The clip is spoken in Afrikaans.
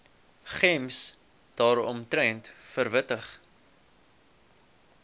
gems daaromtrent verwittig